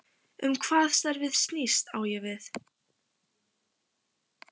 Um hvað starfið snýst, á ég við